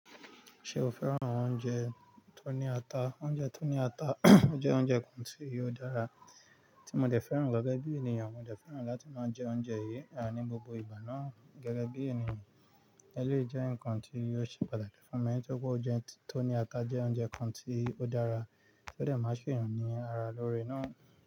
Ṣé o fẹ́ran àwọn oúnjẹ tó ní ata? Oúnjẹ tó ní ata jẹ́ oúnjẹ kan tí o dára tí mo dẹ fẹ́ran gẹ́gẹ́ bí ènìyàn. Mo dẹ fẹ́ran láti máa jẹ oúnjẹ yìí à ní gbogbo ìgbà náà gẹ́gẹ́ bí ènìyàn. Eléyìí jẹ́ ǹkan tí ò ṣe pàtàkì fún mi nítorí pé oúnjẹ tó ní ata jẹ́ oúnjẹ kan tí ó dára tó dẹ máa ṣe èèyàn ní ara lóore ná.